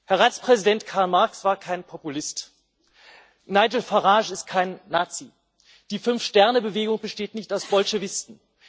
Herr Ratspräsident, Karl Marx war kein Populist, Nigel Farage ist kein Nazi, die Fünf Sterne Bewegung besteht nicht aus Bolschewisten.